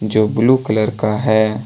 जो blue colour का है।